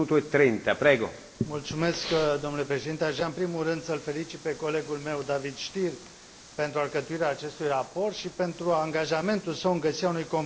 Domnule președinte, aș vrea în primul rând să îl felicit pe colegul meu, Davor Stier, pentru alcătuirea acestui raport și pentru angajamentul său în găsirea unui compromis cât mai larg.